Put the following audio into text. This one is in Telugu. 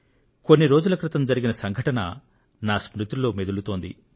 కొన్ని రోజుల క్రితం జరిగిన సంఘటన నా స్మృతిలో మెదులుతోంది